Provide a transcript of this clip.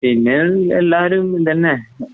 പിന്നെയെല്ലാരും ഇതന്നെ.